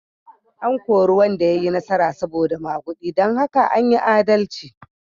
An kori wanda ya yi nasara saboda magudi don haka an yi adalci.